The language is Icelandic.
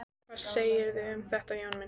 Hvað segirðu um þetta, Jón minn?